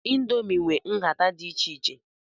Ịndomii nwe nhata dị iche iche.